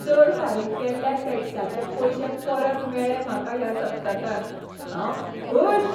चड फारीक केल्ल्या टॅक्साचे पयशे परत मेळ्ळे म्हाका ह्या सप्तकांत, हांव खूश!